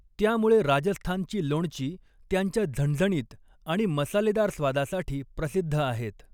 त्यामुळे राजस्थानची लोणची त्यांच्या झणझणीत आणि मसालेदार स्वादासाठी प्रसिद्ध आहेत.